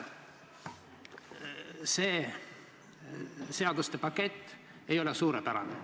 See seaduste pakett ei ole suurepärane.